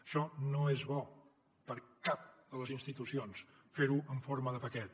això no és bo per a cap de les institucions fer ho en forma de paquet